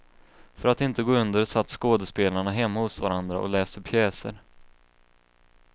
För att inte gå under satt skådespelarna hemma hos varandra och läste pjäser.